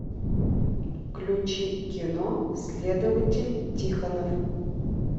включи кино следователь тихонов